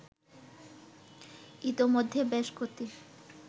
ইতোমধ্যে বেশ কটি